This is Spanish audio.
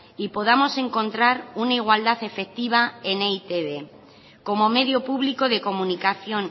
y podamos encontrar una igualdad efectiva en e i te be como medio público de comunicación